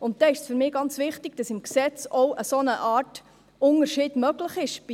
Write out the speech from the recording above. Dann ist für mich ganz wichtig, dass im Gesetz eine Art Unterschied möglich ist.